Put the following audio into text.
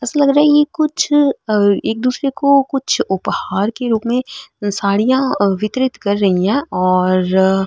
एसा लग रहा है ये कुछ एक दूसरे को उपहार के रूप साड़िया वितरित कर रही है और --